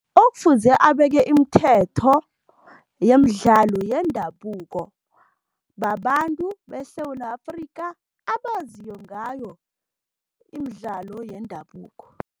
Okufuze abeke imithetho yemidlalo yendabuko, babantu beSewula Afrika abaziyo ngayo imidlalo yendabuko.